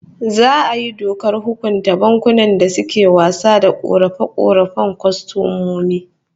Za'a yi dokar hukunta bankunan da suke wasa da korafe-korafen kwastomomi